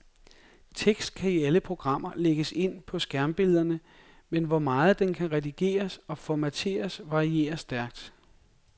Tekst kan i alle programmer lægges ind på skærmbillederne, men hvor meget den kan redigeres og formatteres varierer stærkt.